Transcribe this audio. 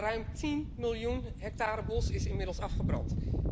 Ruim 10 miljoen hectare bos is inmiddels afgebrand.